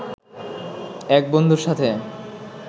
এক বন্ধুর সাথে